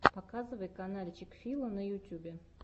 показывай канальчик фила на ютьюбе